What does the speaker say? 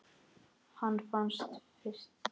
Hún fannst fyrst.